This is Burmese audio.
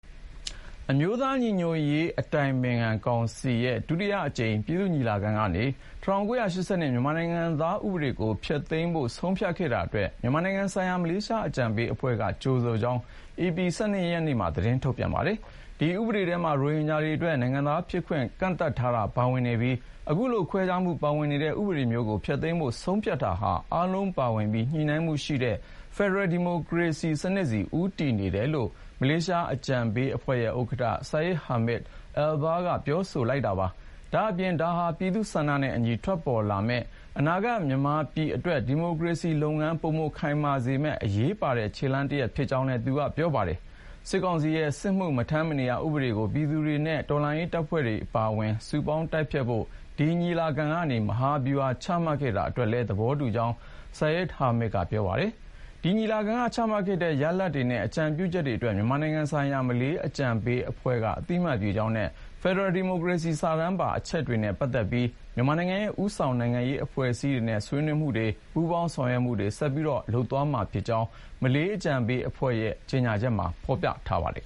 အမျိုးသားညီညွတ်ရေး အတိုင်ပင်ခံကောင်စီရဲ့ ဒုတိယအကြိမ် ပြည်သူ့ညီလာခံကနေ ၁၉၈၂ မြန်မာနိုင်ငံသားဥပဒေကို ဖျက်သိမ်းဖို့ ဆုံးဖြတ်ခဲ့တာအတွက် မြန်မာနိုင်ငံဆိုင်ရာ မလေးရှားအကြံပေးအဖွဲ့က ကြိုဆိုကြောင်း ဧပြီ ၁၂ ရက်မှာ သတင်းထုတ်ပြန်ပါတယ်။ ဒီဥပဒေထဲမှာ ရိုဟင်ဂျာတွေအတွက် နိုင်ငံသားဖြစ်ခွင့် ကန့်သတ်ထားတာ ပါဝင်နေပြီး အခုလို ခွဲခြားမှုပါဝင်နေတဲ့ ဥပဒေမျိုးကို ဖျက်သိမ်းဖို့ ဆုံးဖြတ်တာဟာ အားလုံးပါဝင်ပြီး ညီမ ျှမှုရှိတဲ့ ဖယ်ဒရယ်ဒီမိုကရေစီ စနစ်ဆီ ဦးတည်နေတယ်လို့ မလေးအကြံပေးအဖွဲ့ ဥက္ကဌ Syed Hamid Albar က ကြေညာချက် ထုတ်ပြန်ပြောဆိုပါတယ်။ ဒါ့အပြင် ဒါဟာ ပြည်သူ့ဆန္ဒနဲ့အညီ ထွက်ပေါ်လာမယ့် အနာဂတ်မြန်မာပြည်အတွက် ဒီမိုကရေစီလုပ်ငန်း ပိုမိုခိုင်မာလာစေမယ့် အရေးပါတဲ့ ခြေလှမ်းတရပ် ဖြစ်ကြောင်းလည်း ပြောပါတယ်။ စစ်ကောင်စီရဲ့ စစ်မှု မထမ်းမနေရ ဥပဒေကို ပြည်သူတွေနဲ့ တော်လှန်ရေးတပ်ဖွဲ့တွေ အပါအဝင် စုပေါင်း တိုက်ဖျက်ဖို့ ဒီညီလာခံကနေ မဟာဗျူဟာ ချမှတ်ခဲ့တာ အတွက်လည်း သဘောတူကြောင်း Sayed Hamid ကပြောပါတယ်။ ဒီညီလာခံက ချမှတ်ခဲ့တဲ့ရလဒ်တွေနဲ့ အကြံပြုချက်တွေအတွက် မြန်မာနိုင်ငံဆိုင်ရာ မလေးအကြံပေးအဖွဲ့က အသိမှတ်ပြုကြောင်းနဲ့ ဖယ်ဒရယ်ဒီမိုကရေစီ စာတမ်းပါ အချက်တွေနဲ့ ပတ်သက်ပြီး မြန်မာနိုင်ငံရဲ့ ဦးဆောင် နိုင်ငံရေးအဖွဲ့အစည်းတွေနဲ့ ဆွေးနွေးမှုတွေ၊ ပူးပေါင်းဆောင်ရွက်မှုတွေ ဆက်လက်လုပ်ဆောင်မှာ ဖြစ်ကြောင်းလည်း မလေးအကြံပေးအဖွဲ့ရဲ့ ကြေညာချက်မှာ ဖေါ်ပြထားပါတယ်